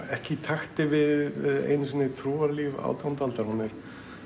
ekki í takti við einu sinni trúarlíf átjándu aldar hún er